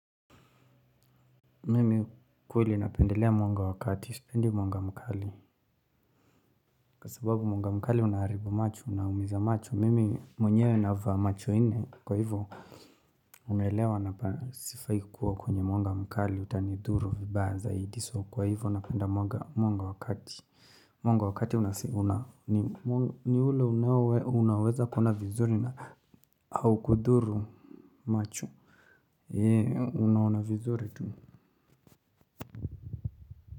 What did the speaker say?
Mimi kiukweli napendelea mwanga wa kati, sipendi mwanga mkali. Kwa sababu mwanga mkali unaharibu macho, unaumiza macho, mimi mwenyewe navaa macho nne kwa hivyo. Unaelewa na sifai kuwa kwenye mwanga mkali utanidhuru vibaya zaidi so kwa hivyo napenda mwanga wa kati. Mwanga wa kati unaweza kuona vizuri na au kudhuru macho. Heee unaona vizuri tu.